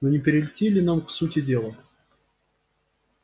но не перейти ли нам к сути дела